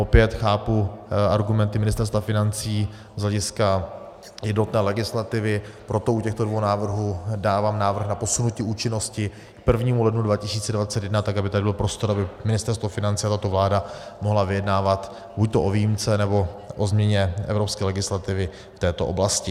Opět chápu argumenty Ministerstva financí z hlediska jednotné legislativy, proto u těchto dvou návrhů dávám návrh na posunutí účinnosti k 1. lednu 2021, tak aby tady byl prostor, aby Ministerstvo financí a tato vláda mohly vyjednávat buďto o výjimce, nebo o změně evropské legislativy v této oblasti.